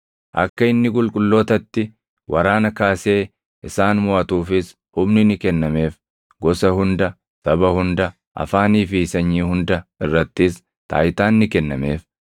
Akka inni qulqullootatti waraana kaasee isaan moʼatuufis humni ni kennameef. Gosa hunda, saba hunda, afaanii fi sanyii hunda irrattis taayitaan ni kennameef.